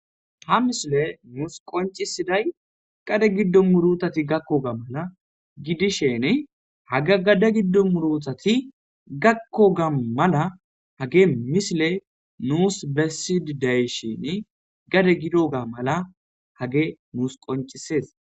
Ha missile nus qonc'isiday gade gidon murutati gakoga mala gidisheni haga gade gido murutati gakoga mala hage missile nus beside de'ishin gade gidoga mala hage nus qonc'ses.